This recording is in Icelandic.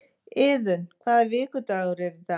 Iðunn, hvaða vikudagur er í dag?